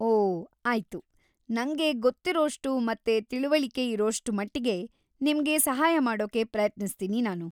ಓ, ಆಯ್ತು. ನಂಗೆ ಗೊತ್ತಿರೋಷ್ಟು ಮತ್ತೆ ತಿಳಿವಳಿಕೆ ಇರೋಷ್ಟ್ ಮಟ್ಟಿಗೆ ನಿಮ್ಗೆ ಸಹಾಯ ಮಾಡೋಕೆ ಪ್ರಯತ್ನಿಸ್ತೀನಿ ನಾನು.